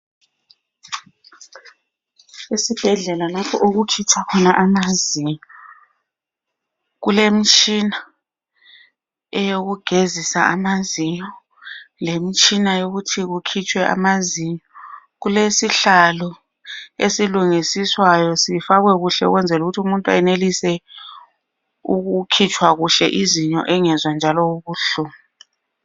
Isibhedlela lapho okukhitshwa khona amazinyo kulemtshina eyokugezisa amazinyo lemtshina yokuthi kukhitshwe amazinyo, kulesihlalo esilungisiswayo sifakwe kuhle ukwenzela umuntu anelise ukukhitshwa kuhle izinyo engezwa njalo ubuhlungu.